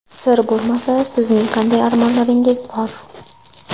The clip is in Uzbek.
Sir bo‘lmasa sizlarning qanday armonlaringiz bor?